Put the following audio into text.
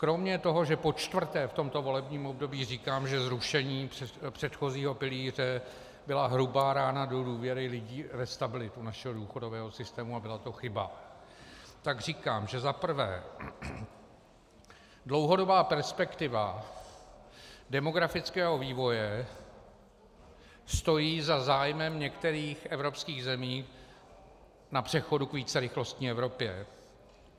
Kromě toho, že počtvrté v tomto volebním období říkám, že zrušení předchozího pilíře byla hrubá rána do důvěry lidí ve stabilitu našeho důchodového systému a byla to chyba, tak říkám, že zaprvé dlouhodobá perspektiva demografického vývoje stojí za zájmem některých evropských zemí na přechodu k vícerychlostní Evropě.